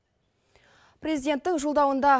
президенттің жолдауында